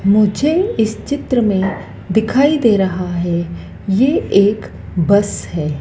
मुझे इस चित्र में दिखाई दे रहा है यह एक बस है।